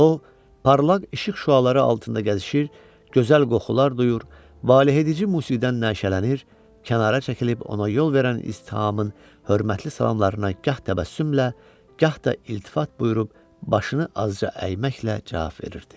O, parlaq işıq şüaları altında gəzişir, gözəl qoxular duyur, valehedici musiqidən nəşələnir, kənara çəkilib ona yol verən ictihamın hörmətli salamlarına gah təbəssümlə, gah da iltifat buyurub başını azca əyməklə cavab verirdi.